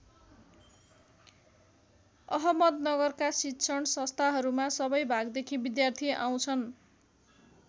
अहमदनगरका शिक्षण संस्थाहरूमा सबै भागदेखि विद्यार्थी आउँछन्।